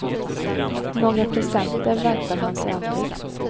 Några presenter väntar han sig aldrig.